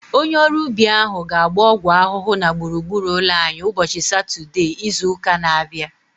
Onye ọrụ ubi ahu ga-agba ọgwụ ahụhụ na gburugburu ụlọ anyị ụbọchị Satọdee izu ụka na-abịa